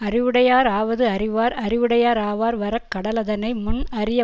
அறிவுடையார் ஆவது அறிவார் அறிவுடையராவர் வர கடவதனை முன் அறிய